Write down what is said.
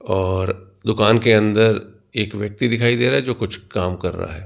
और दुकान के अंदर एक व्यक्ति दिखाई दे रहा है जो कुछ काम कर रहा है।